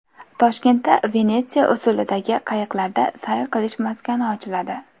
Toshkentda Venetsiya usulidagi qayiqlarda sayr qilish maskani ochiladi.